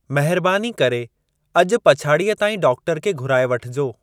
महिरबानी करे अॼु पछाड़ीअ ताईं डॉक्टर खे घुराए वठिजो।